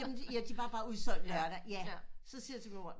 Jamen ja de var bare udsolgt lørdag ja så siger jeg til min mor